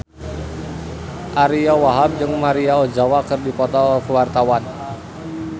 Ariyo Wahab jeung Maria Ozawa keur dipoto ku wartawan